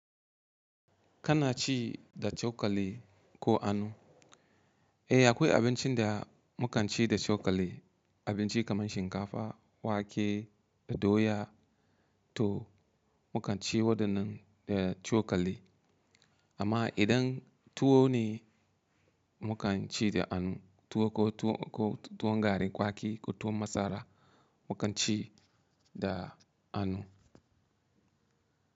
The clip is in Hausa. Kana ci da cokali ko annu? Eh akwai abincin da mu kan ci da cokali, abinci kamar shinkafa, wake da doya to mu kan ci waɗannan da cokali. Amma idan tuwo ne mu kan ci da annu, tuwo ko tuwo, ko tuwon garin kwaki ko tuwon masara mu kan ci da anu.